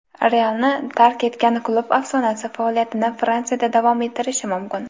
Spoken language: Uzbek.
"Real"ni tark etgan klub afsonasi faoliyatini Fransiyada davom ettirishi mumkin.